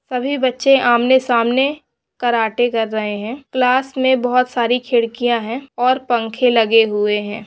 सभी बच्चे आमने सामने कराटे कर रहे है क्लास में बहोत सारी खिड़कियां है और पंखे लगे हुए हैं।